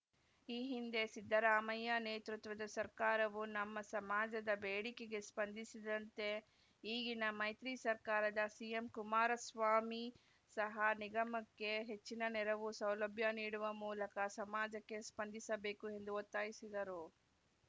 ಈ ಹಿಂದೆ ಸಿದ್ದರಾಮಯ್ಯ ನೇತೃತ್ವದ ಸರ್ಕಾರವು ನಮ್ಮ ಸಮಾಜದ ಬೇಡಿಕೆಗೆ ಸ್ಪಂದಿಸಿದಂತೆ ಈಗಿನ ಮೈತ್ರಿ ಸರ್ಕಾರದ ಸಿಎಂ ಕುಮಾರಸ್ವಾಮಿ ಸಹ ನಿಗಮಕ್ಕೆ ಹೆಚ್ಚಿನ ನೆರವು ಸೌಲಭ್ಯ ನೀಡುವ ಮೂಲಕ ಸಮಾಜಕ್ಕೆ ಸ್ಪಂದಿಸಬೇಕು ಎಂದು ಒತ್ತಾಯಿಸಿದರು